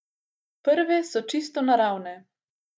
Prve so čisto naravne.